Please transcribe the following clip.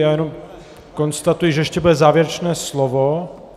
Já jenom konstatuji, že ještě bude závěrečné slovo.